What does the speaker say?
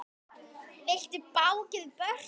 Vildu báknið burt.